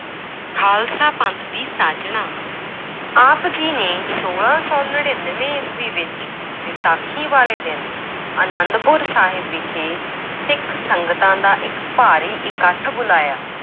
ਖਾਲਸਾ ਪੰਥ ਦੀ ਸਾਜਣਾ, ਆਪ ਜੀ ਨੇ ਛੋਲਾਂ ਸੌ ਨੜ੍ਹਿਨਵੇਂ ਈਸਵੀ ਵਿੱਚ ਵਿਸਾਖੀ ਵਾਲੇ ਦਿਨ ਅਨੰਦਪੁਰ ਸਾਹਿਬ ਵਿਖੇ ਸਿੱਖ ਸੰਗਤਾਂ ਦਾ ਇੱਕ ਭਾਰੀ ਇਕੱਠ ਬੁਲਾਇਆ।